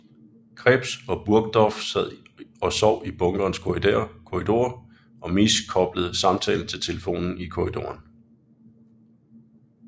Krebs og Burgdorf sad og sov i bunkerens korridor og Misch koblede samtalen til telefonen i korridoren